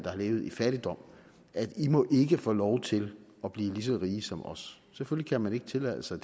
har levet i fattigdom at i må ikke få lov til at blive lige så rige som os selvfølgelig kan man ikke tillade sig